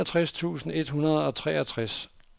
enogtres tusind et hundrede og treogtres